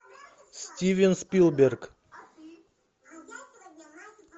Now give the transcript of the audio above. стивен спилберг